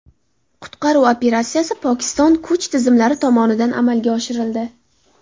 Qutqaruv operatsiyasi Pokiston kuch tizimlari tomonidan amalga oshirildi.